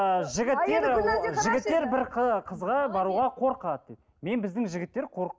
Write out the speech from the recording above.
ы жігіттер жігіттер бір қызға баруға қорқады дейді мен біздің жігіттер